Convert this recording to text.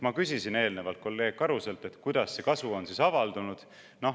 " Ma küsisin eelnevalt kolleeg Karuselt, kuidas see kasu on avaldunud.